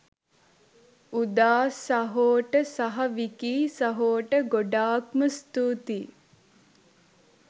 උදා සහෝට සහ විකී සහෝට ගොඩාක්ම ස්තුතියි